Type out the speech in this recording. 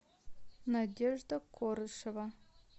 надежда корышева